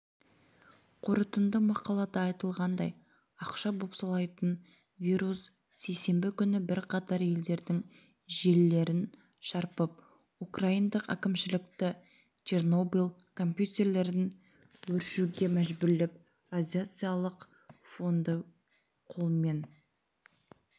қорытынды мақалада айтылғандай ақша бопсалайтын вирус сейсенбі күні бірқатар елдердің желілерін шарпып украиндықәкімшілікті чернобыль компьютерлерін өшіруге мәжбүрлеп радиациялық фонды қолмен